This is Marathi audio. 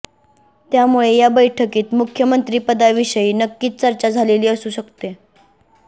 त्यामुळे या बैठकीत मुख्यमंत्रिपदाविषयी नक्कीच चर्चा झालेली असू शकते